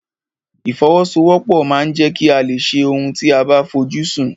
Ìfọwọ́sowọ́pọ̀ ma ń jẹ́ kí a lè ṣe ohun tí a fojú sùn.